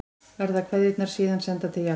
Verða kveðjurnar síðan sendar til Japans